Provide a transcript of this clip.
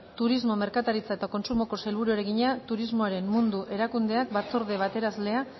turismo merkataritza eta kontsumoko sailburuari egina turismoaren mundu erakundeak batzorde betearazlea